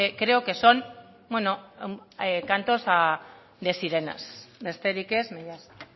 creo que son cantos de sirenas besterik ez mila esker